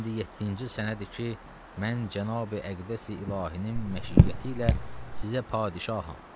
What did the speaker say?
İndi yeddinci sənədir ki, mən cənab-i əqdəs-i ilahinin məşiyəti ilə sizə padşaham.